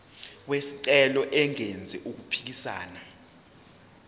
wesicelo engenzi okuphikisana